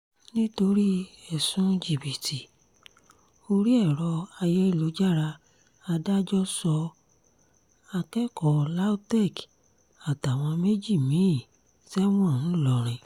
nítorí ẹ̀sùn jìbìtì orí ẹ̀rọ ayélujára adájọ́ sọ akẹ́kọ̀ọ́ lautech àtàwọn méjì mí-ín sẹ́wọ̀n ńlórìn